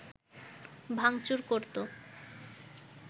ভাঙচুর করতো